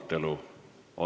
Istungi lõpp kell 18.50.